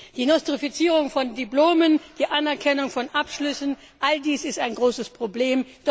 Die Nostrifizierung von Diplomen, die Anerkennung von Abschlüssen all dies ist ein großes Problem.